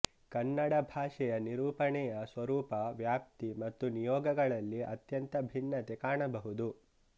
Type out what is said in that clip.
ಕನ್ನಡಭಾಷೆಯ ನಿರೂಪಣೆಯ ಸ್ವರೂಪ ವ್ಯಾಪ್ತಿ ಮತ್ತು ನಿಯೋಗಗಳಲ್ಲಿ ಅತ್ಯಂತ ಭಿನ್ನತೆ ಕಾಣಬಹುದು